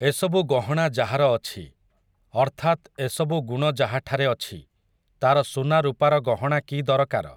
ଏସବୁ ଗହଣା ଯାହାର ଅଛି, ଅର୍ଥାତ୍ ଏସବୁ ଗୁଣ ଯାହାଠାରେ ଅଛି, ତା'ର ସୁନା ରୂପାର ଗହଣା କି ଦରକାର ।